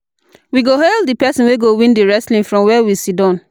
We go hail di pesin wey go win di wrestling from where we siddon.